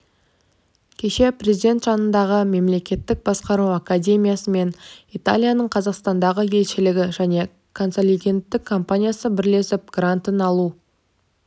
кеше президент жанындағы мемлекеттік басқару академиясы мен италияның қазақстандағы елшілігі және консалтингтік компаниясы бірлесіп грантын алу